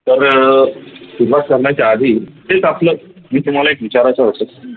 तर सुरूवात करण्याच्या आधी तेच आपला तुम्हाला एक विचारायच होत